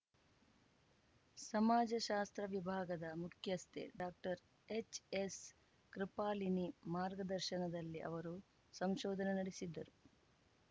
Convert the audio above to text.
ಸಮಾಜ ಶಾಸ್ತ್ರ ವಿಭಾಗದ ಮುಖ್ಯಸ್ಥೆ ಡಾಕ್ಟರ್ಎಚ್‌ಎಸ್‌ಕೃಪಾಲಿನಿ ಮಾರ್ಗದರ್ಶನಲ್ಲಿ ಅವರು ಸಂಶೋಧನೆ ನಡೆಸಿದ್ದರು